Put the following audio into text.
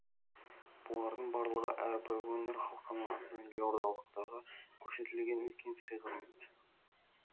бұлардың барлығы әрбір өңір халқының атынан елордалықтағы көрсетілген үлкен сый құрмет